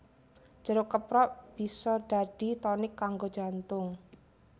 Jeruk keprok bisa dadi tonik kanggo jantung